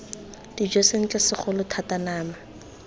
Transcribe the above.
dijo sentle segolo thata nama